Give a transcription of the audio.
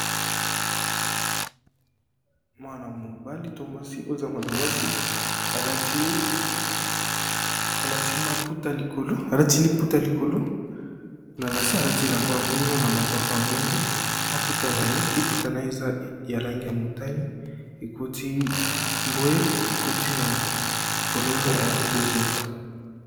Mwana-mobali to mwasi oza mwana mwasi alati liputa likolo na nase alati elamba moindo na mapapa moindo maputa naye liputa na ye eza ya langi ya motani ekoti bwe ekoti na fololo ya bozinga.